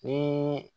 Ni